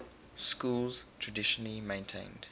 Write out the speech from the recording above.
schools traditionally maintained